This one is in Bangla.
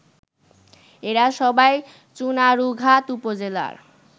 এরা সবাই চুনারুঘাট উপজেলার